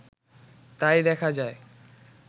তাই দেখা যায়